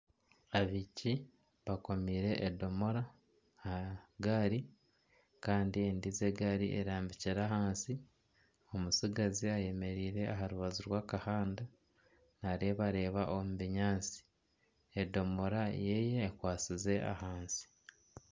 Abaishiki baakomiire edomora aha gaari kandi endiijo egaari erambikire ahansi omutsigazi ayemereire aha rubaju rw'akahanda naareebareeba omu binyaatsi, edomora yeye ekwasize ahansi